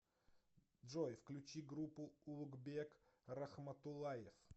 джой включи группу улугбек рахматуллаев